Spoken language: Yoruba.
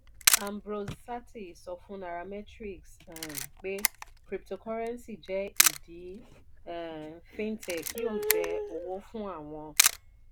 ambrose sartee sọ fún nairametrics um pé cryptocurrency jẹ́ ìdí um fintech yóò jẹ́ owó fún àwọn.